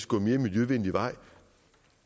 gå en mere miljøvenlig vej